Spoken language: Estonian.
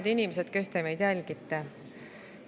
Head inimesed, kes te meid jälgite!